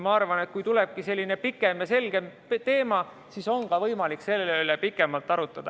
Ma arvan, et kui tuleb selline ulatuslikum ja selgem teema, siis on ka võimalik selle üle pikemalt arutleda.